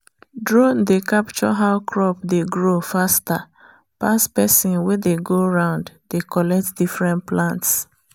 drone dey capture how crop dey grow faster pass person wey dey go round dey collet different plants